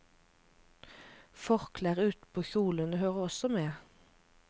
Forklær utenpå kjolene hører også med.